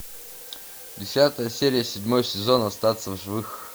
десятая серия седьмой сезон остаться в живых